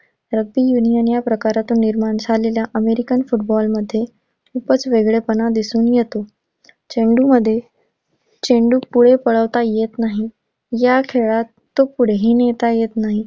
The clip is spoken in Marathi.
Rugby union या प्रकारातून निर्माण झालेल्या अमेरीकन फुटबॉल मध्ये खूपच वेगळेपणा दिसून येतो. चेंडूंमध्ये चेंडू पुढे पळवता येत नाही. या खेळात तो पुढेही नेता येत नाही.